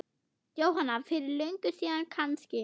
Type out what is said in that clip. Jóhanna: Fyrir löngu síðan kannski?